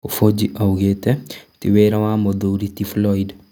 Kũbũji oigĩte tĩ wĩra wa mũthuri ti Flyod